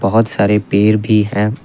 बहुत सारे पेड़ भी है।